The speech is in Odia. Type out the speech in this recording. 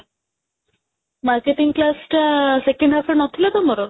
marketing class ଟା second half ରେ ନଥିଲା ତମର?